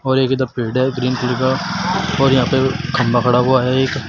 और एक इधर पेड़ है ग्रीन कलर का और यहां पे खंभा गढ़ा हुआ है एक।